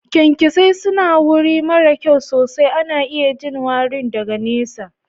kyankyasai su na wuri mara kyau sosai ana iya jin warin daga nesa.